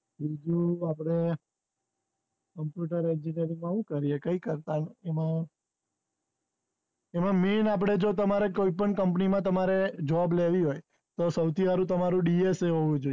બીજું આપણે computer education માં હું કરીયે, કઈ કરતા એમાં main આપણે જો તમારે કોઈ પણ company માં તમારે job લેવી હોય તો સૌથી હારું તમારું dsa હોવું જોઈએ